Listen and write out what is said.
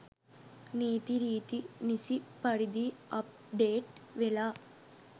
නීතිරීති නිසි පරිදි අප්ඩේට් වෙලා